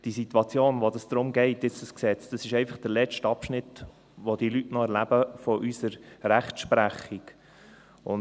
Die Situation, um die es bei diesem Gesetz geht, ist einfach der letzte Abschnitt, den die Leute noch von unserer Rechtsprechung erleben.